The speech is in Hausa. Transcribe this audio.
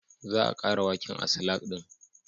Za a ƙara waken a salak ɗin